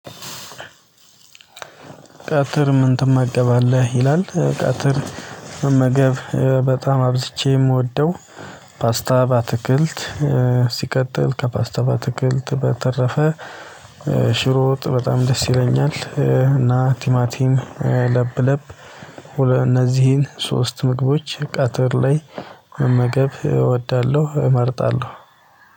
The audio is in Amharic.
ቀትር ምን ትመገባለህ ይላል? ቀትር መመገብ በጣም አብዝቼ የምወደው። ፓስታ ባትክልት ሲቀጥል ከፓስታ ባትክልት በተረፈ። ሽሮወጥ በጣም ደስ ይለኛል። እና ቲማቲን ለብ ለብ። እነዚህን ሶስት ምግቦች ቀትር ላይ መመገብ እወዳለሁ እመርጣለሁ